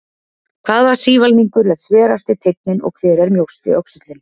Hvaða sívalningur er sverasti teinninn og hver er mjósti öxullinn?